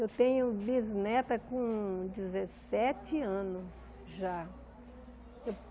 Eu tenho bisneta com dezessete anos já.